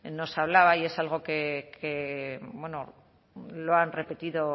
nos hablaba y es algo que lo han repetido